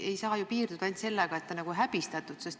Ei saa ju piirduda ainult sellega, et ta on häbistatud.